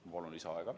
Ma palun lisaaega!